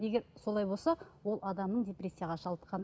егер солай болса ол адамның депрессияға шалдыққаны